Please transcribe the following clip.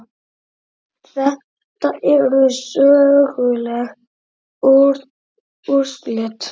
Þetta eru söguleg úrslit.